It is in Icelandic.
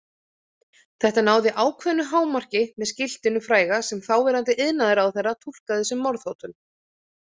Þetta náði ákveðnu hámarki með skiltinu fræga sem þáverandi iðnaðarráðherra túlkaði sem morðhótun.